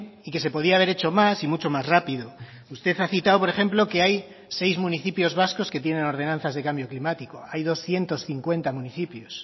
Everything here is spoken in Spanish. y que se podía haber hecho más y mucho más rápido usted ha citado por ejemplo que hay seis municipios vascos que tienen ordenanzas de cambio climático hay doscientos cincuenta municipios